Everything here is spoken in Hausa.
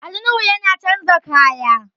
Ali Nuhu yana chanza kaya